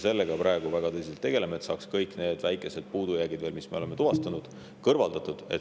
Sellega me praegu väga tõsiselt tegeleme, et saaks kõik need väikesed puudujäägid, mis me oleme tuvastanud, kõrvaldatud.